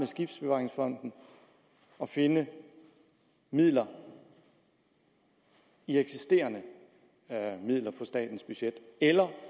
skibsbevaringsfonden og finde midler i eksisterende midler på statens budget eller